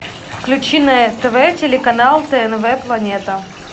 включи на нтв телеканал тнв планета